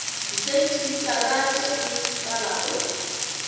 disentimetara tše e ka bago